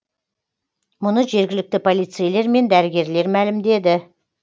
мұны жергілікті полицейлер мен дәрігерлер мәлімдеді